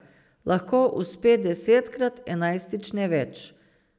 Lahko uspe desetkrat, enajstič ne več.